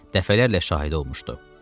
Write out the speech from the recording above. Dəfələrlə şahid olmuşdu.